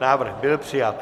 Návrh byl přijat.